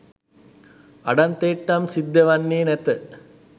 අඩන්තේට්ටම් සිද්ධ වෙන්නේ නැත.